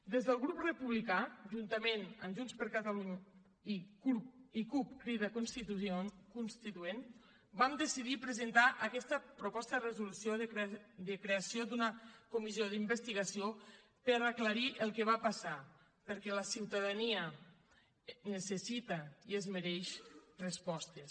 des del grup republicà juntament amb junts per catalunya i cup crida constituent vam decidir presentar aquesta proposta de resolució de creació d’una comissió d’investigació per aclarir el que va passar perquè la ciutadania necessita i es mereix respostes